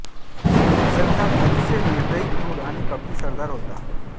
अफझलखान अतिशय निर्दयी क्रूर आणि कपटी सरदार होता